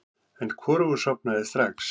En hvorugur sofnaði strax.